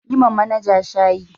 Yi ma manaja shaayi.